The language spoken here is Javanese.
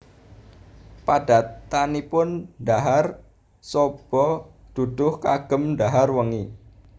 Padatanipun dhahar soba duduh kagem dhahar wengi